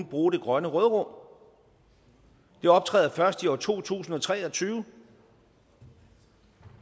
bruge det grønne råderum det optræder først i år to tusind og tre og tyve